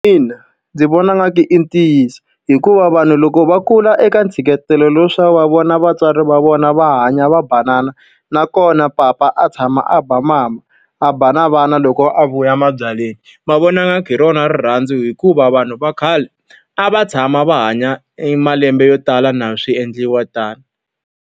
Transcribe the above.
Ina ndzi vona ingaku i ntiyiso hikuva vanhu loko va kula eka ntshikelelo lowu wa leswaku va vona vatswari va vona va hanya va banana, nakona papa a tshama a ba mama, a ba na vana loko a vuya mabyaleni, va vona ingaku hi rona rirhandzu. Hikuva vanhu va khale a va tshama va hanya malembe yo tala na swi endliwa tano.